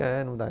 É, não dá.